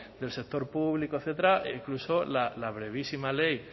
del sector público etcétera e incluso la brevísima ley